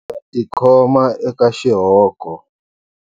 Ndza tikhoma eka xihoko.